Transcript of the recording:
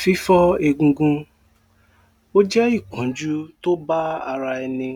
Fí fọ́ egungun ó jẹ́ ìpọ́njú tó bá ara ẹni